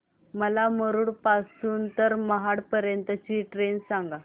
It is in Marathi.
मला मुरुड पासून तर महाड पर्यंत ची ट्रेन सांगा